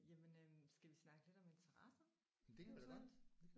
Jamen øh skal vi snakke lidt om interesser eventuelt?